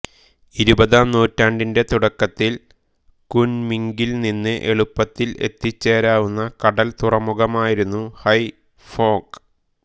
ഇരുപതാം നൂറ്റാണ്ടിന്റെ തുടക്കത്തിൽ കുൻമിംഗിൽ നിന്ന് എളുപ്പത്തിൽ എത്തിച്ചേരാവുന്ന കടൽ തുറമുഖമായിരുന്നു ഹൈഫോംഗ്